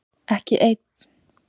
Ekki einn